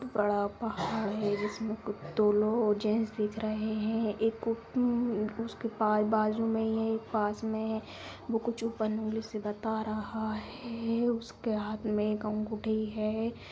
बड़ा पहाड़ है जिसमें कुत्तों लोग जेंट्स दिख रहे हैं एक को उ-प-म उसके पा बाजू में है पास में ही है जो बंद उंगली सी बता रहा है उसके हाथ में एक अंगूठी है।